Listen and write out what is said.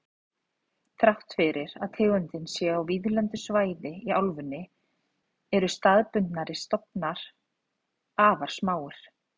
Þrátt fyrir að tegundin sé á víðlendu svæði í álfunni eru staðbundnir stofnar afar smáir.